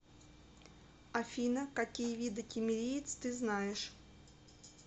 афина какие виды киммериец ты знаешь